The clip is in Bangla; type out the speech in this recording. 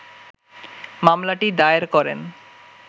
মামলাটি দায়ের করেন